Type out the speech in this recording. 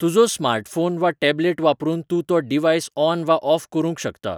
तुजो स्मार्टफॉन वा टॅब्लेट वापरून तूं तो डिव्हाइस ऑन वा ऑफ करूंक शकता